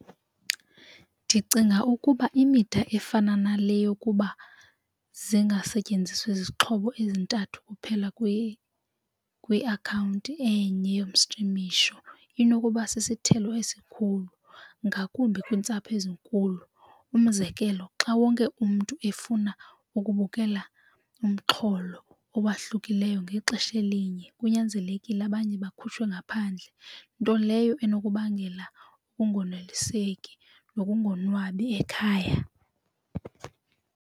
Ndicinga ukuba imida efana nale yokuba zingasetyenziswa izixhobo ezintathu kuphela kwiakhawunti enye yomstrimisho inokuba sisithelo esikhulu ngakumbi kwiintsapho ezinkulu. Umzekelo, xa wonke umntu efuna ukubukela umxholo owahlukileyo ngexesha elinye kunyanzelekile abanye bakhuliswe ngaphandle nto leyo enokubangela ukungoneliseki nokungonwabi ekhaya.